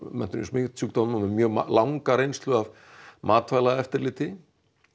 menntun í smitsjúkdómum með langa reynslu af matvælaeftirliti